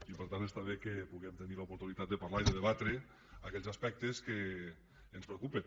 i per tant està bé que puguem tenir l’oportunitat de parlar i de debatre aquells aspectes que ens preocupen